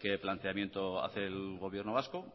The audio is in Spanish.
qué planteamiento hace el gobierno vasco